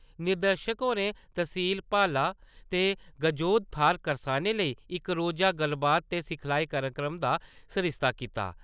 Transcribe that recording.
निदेशक होरें तहसील बाल्ला दी गजोथ थाह्‌र करसानें लेई इक रोजा गल्लबात ते सिखलाई कार्यक्रम दा सरिस्ता कीता।